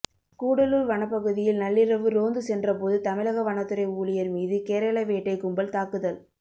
கூடலூர் வனப்பகுதியில் நள்ளிரவு ரோந்து சென்றபோது தமிழக வனத்துறை ஊழியர் மீது கேரள வேட்டை கும்பல் தாக்குதல்